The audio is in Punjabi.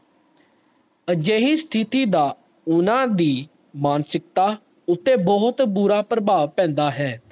ਅਜੇਹੀ ਸਥਿਤੀ ਦਾ ਓਹਨਾ ਦੀ ਮਾਨਸਿਕਤਾ ਉਤੇ ਬਹੁਤ ਬੁਰਾ ਪ੍ਰਭਾਵ ਪੈਂਦਾ ਹੈ